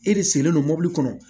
E de sigilen don mɔbili kɔnɔ